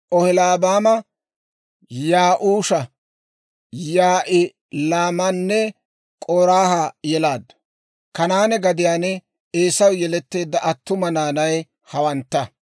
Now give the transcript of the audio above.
Oholiibaama Ya'uusha, Yaa'ilaamanne K'oraaha yelaaddu; Kanaane gadiyaan Eesaw yeletteedda attuma naanay hawantta.